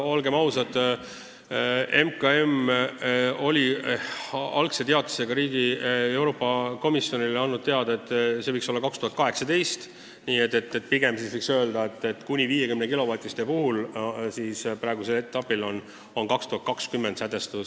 Olgem ausad, MKM oli algse teatisega Euroopa Komisjonile teada andnud, et see tärmin võiks olla 2018, aga kuni 50-kilovatiste puhul on praegusel etapil tähtajaks sätestatud 2020. aasta.